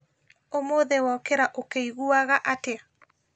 ũmũthĩ wokĩra ũkĩiguaga atĩa